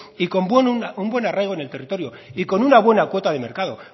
y con un buen arraigo en el territorio y con una buena cuota de mercado